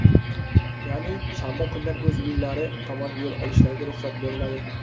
ya’ni shanba kundan o‘z uylari tomon yo‘l olishlariga ruxsat beriladi.